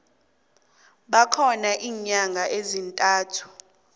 bakhona iinyanga ezintathu